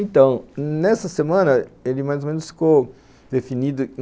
Então, nessa semana ele mais ou menos ficou definido.